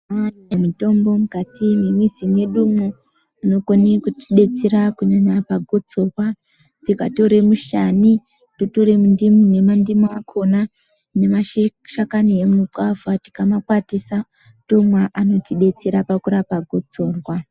Mane mitombo mukati me mizi mwedumwo inokone kuti detsera kunyanya pa gotsorwa tikatore mushani totore mundimu ne mandimu akona nema shakani e mugwavha tikama kwatisa tomwa anoti detsera pakurapa gotsorwa.